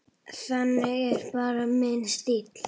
Það er bara minn stíll.